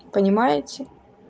понимаете